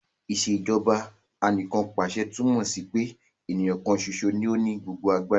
Ìṣèjọba Anìkanpàṣẹ túmọ̀ sí pé èèyàn kan ṣoṣo ní ó ní gbogbo agbára